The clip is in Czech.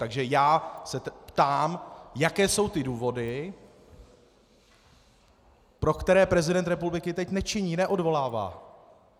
Takže já se ptám, jaké jsou ty důvody, pro které prezident republiky teď nečiní, neodvolává.